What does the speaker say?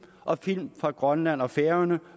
og film fra grønland og færøerne